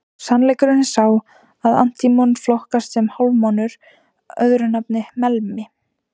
Sannleikurinn er sá að antímon flokkast sem hálfmálmur, öðru nafni melmi.